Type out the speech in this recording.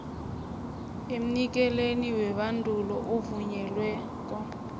emnikelini webandulo ovunyelweko